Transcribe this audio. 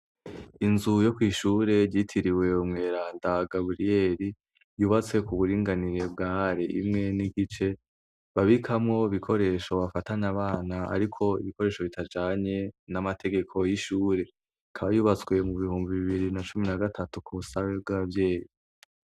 Inzu yo kw'ishure ryitiriwe umweranda Gaburiyeri, yubatse ku buringanire bwa are imwe n' igice, babikamwo ibikoresho bifatana abana ariko ibikoresho bitajanye n' amategeko y'ishure. Ikaba yubatswe mu bihumbi bibiri na cumin na gatatu ku busabe bw' abavyeyi.